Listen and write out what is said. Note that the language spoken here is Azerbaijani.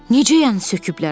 Necə yəni söküblər?